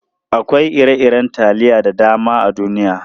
Akwai ire-iren taliya da dama a duniya.